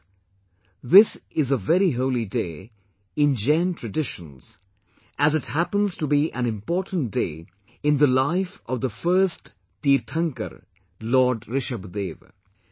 Friends, this is a very holy day in Jain traditions as it happens to be an important day in the life of the first Tirthankara Lord Rishabhdev